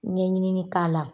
Ɲɛɲinili k'a la